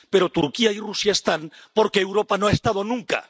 Pero Turquía y Rusia están, porque Europa no ha estado nunca.